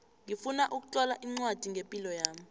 ngifuna ukutlola ncwadi ngepilo yami